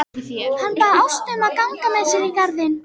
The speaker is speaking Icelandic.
Hann bað Ástu að ganga með sér í garðinn.